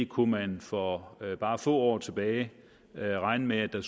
kunne man for bare få år tilbage regne med at der